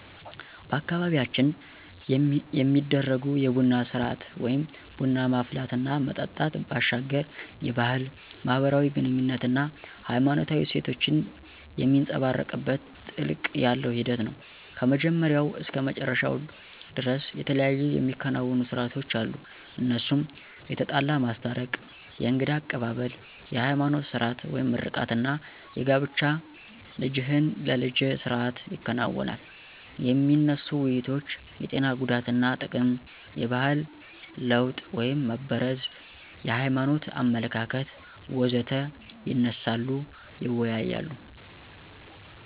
በአካባቢያችን የሚደረጉ የቡና ስርአት (ቡና ማፍላት እና መጠጣት) ባሻገር የባህል፣ ማህበራዊ ግኑኝነት አና ሃይማኖታዊ እሴቶችን የሚንፀባረቅበት ጥልቀት ያለው ሂደት ነው። ከመጀመሪያው እስከ መጨረሻው ደርስ የተለያዩ የሚከናወኑ ሰርአቶች አሉ እነሱም የተጣላ ማስታረቅ፣ የእንግዳ አቀባብል፣ የሀይማኖት ስርአት (ምርቃት) አና የጋብቻ ልጅህን ለልጀ ስርአት ይከናወናል። የሚነሱ ውይይቶች የጤና ጉዳትና ጥቅም፣ የባህል ለወጥ (መበረዝ) የሀይማኖት አመለካከት.... ወዘተ ይነሳሉ ይወያያሉ።